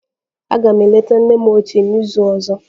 Aga m eleta nne m ochie n'izu ọzọ.